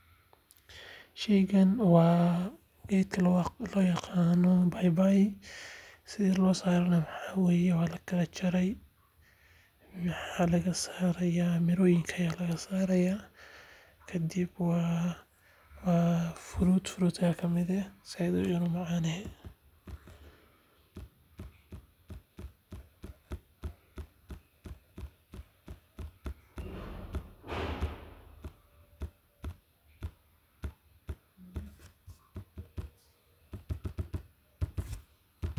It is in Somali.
Sheygani waa geedka loo yaqaano baybay sida loo saaray waxaa waye waa lajaray miraha ayaa laga saaray sait ayuu unacan yahay.